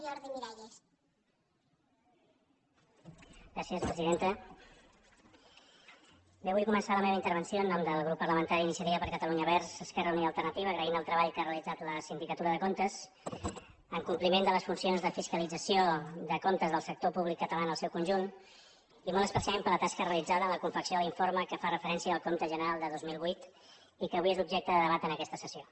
vull començar la meva intervenció en nom del grup parlamentari d’iniciativa per catalunya verds esquerra unida i alternativa agraint el treball que ha realitzat la sindicatura de comptes en compliment de les funcions de fiscalització de comptes del sector públic català en el seu conjunt i molt especialment per la tasca realitzada en la confecció de l’informe que fa referència al compte general de dos mil vuit i que avui és objecte de debat en aquesta sessió